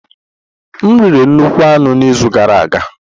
M riri nnukwu anụ n'izu gara aga.